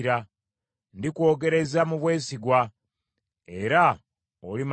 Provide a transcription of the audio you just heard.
Ndikwogereza mu bwesigwa, era olimanya Mukama .